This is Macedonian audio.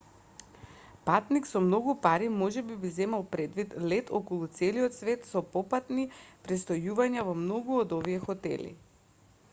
патник со многу пари можеби би земал предвид лет околу целиот свет со попатни престојувања во многу од овие хотели